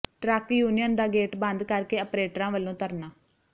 truck union ਦਾ gate ਬੰਦ ਕਰ ਕੇ ਅਪਰੇਟਰਾਂ ਵਲੋਂ ਧਰਨਾ